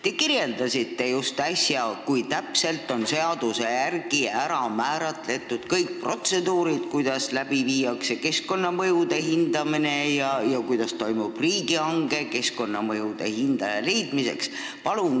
Te kirjeldasite just, kui täpselt on seaduses määratud kõik protseduurid: kuidas viiakse läbi keskkonnamõjude hindamine ja kuidas toimub riigihange keskkonnamõjude hindaja leidmiseks.